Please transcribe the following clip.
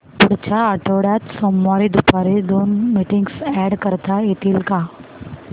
पुढच्या आठवड्यात सोमवारी दुपारी दोन मीटिंग्स अॅड करता येतील का